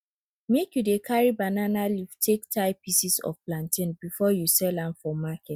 make you dey carry banana leaf take tie pieces of plantain before you sell am for market